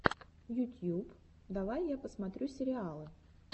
ютьюб давай я посмотрю сериалы